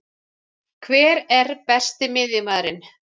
Hver er Besti miðjumaðurinn?